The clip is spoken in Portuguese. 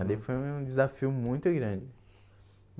Ali foi um desafio muito grande.